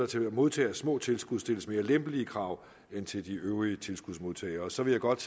til hver modtager af små tilskud stilles mere lempelige krav end til de øvrige tilskudsmodtagere så vil jeg godt